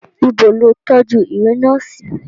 Ìbọ̀ ló tójú ìwé náà sí.